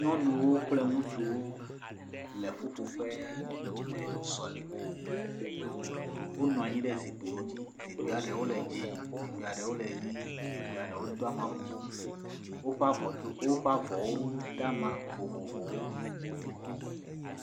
Nyɔnuwo kple ŋutsuwo le ƒuƒoƒe le sɔleme, wonɔ anyi ɖe zikpuiwo dzi, zikpui ɖewo le dzɛ, zikpui ɖewo le ʋe zikpuia ɖewo do ama bubu, woƒe avɔwo da ama vovovowo.